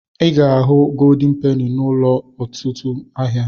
I ga-ahu goldin peni n'ụlọ ọtụtụ ahịa.